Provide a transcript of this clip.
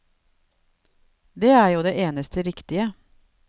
Det er jo det eneste riktige.